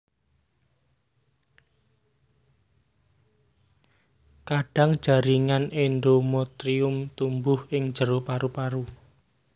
Kadang jaringan endometrium tumbuh ing jero paru paru